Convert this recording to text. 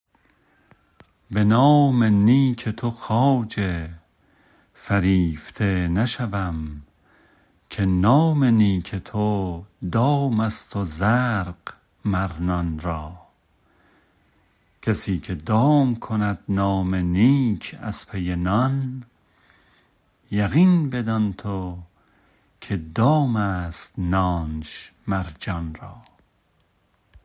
به نام نیک تو خواجه فریفته نشوم که نام نیک تو دام است و زرق مر نان را کسی که دام کند نام نیک از پی نان یقین بدان تو که دام است نانش مر جان را